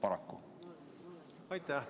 Aitäh!